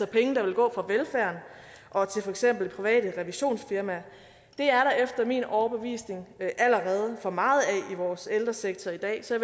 penge der vil gå fra velfærden og til for eksempel private revisionsfirmaer det er der efter min overbevisning allerede for meget af i vores ældresektor i dag så